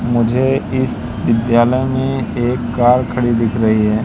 मुझे इस विद्यालय में एक कार खड़ी दिख रही है।